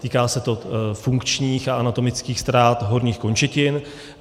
Týká se to funkčních a anatomických ztrát horních končetin.